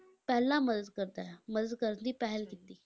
ਪਹਿਲਾਂ ਮਦਦ ਕਰਦਾ ਹੈ, ਮਦਦ ਕਰਨ ਦੀ ਪਹਿਲ ਕੀਤੀ।